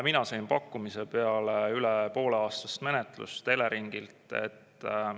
Mina sain pakkumise peale üle pooleaastast menetlust Eleringilt.